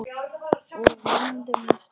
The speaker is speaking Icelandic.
Og vonandi með stórt hjarta.